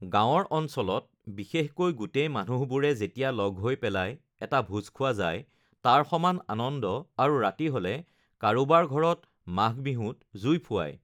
গাৱঁৰ অঞ্চলত বিশেষকৈ গোটেই মানুহবোৰে যেতিয়া লগ হৈ পেলাই এটা ভোজ খোৱা যায় তাৰ সমান আনন্দ আৰু ৰাতি হ'লে কাৰোবাৰ ঘৰত মাঘবিহুত জুই ফুৱাই